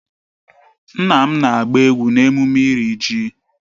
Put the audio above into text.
Nna m na-agba egwu n'emume iri ji